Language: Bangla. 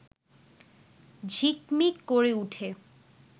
ঝিকমিক করে ওঠে